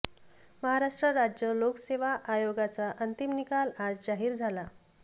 महाराष्ट्र राज्य लोकसेवा आयोगाचा अंतिम निकाल आज जाहीर झाला